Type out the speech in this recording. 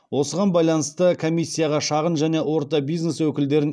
осыған байланысты комиссияға шағын және орта бизнес өкілдерін